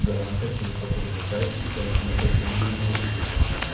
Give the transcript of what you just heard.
гранта через какой-либо сайт включай тот же ю ду